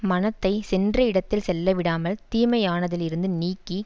மனத்தை சென்ற இடத்தில் செல்லவிடாமல் தீமையானதிலிருந்து நீக்கி